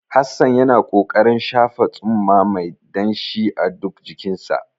Hassan yana ƙoƙarin shafa tsumma mai danshi a duk jikinsa.